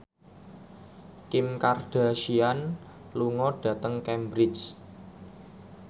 Kim Kardashian lunga dhateng Cambridge